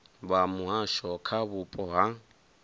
vha muhasho kha vhupo ha